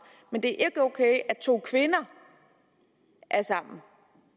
men det er ok at to kvinder er sammen